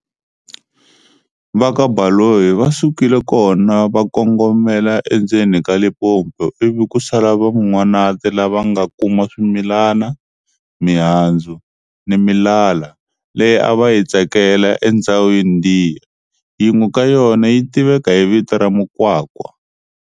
Va ka Baloyi va sukile kona va kongomela endzeni ka Limpopo ivi ku sala Van'wanati lava va nga kuma swimilani, mihandzu, ni milala, leyi a va yi tsakela e ndzhawini liya-yin'we ka yona yi tiveka hi vito ra mukwakwa.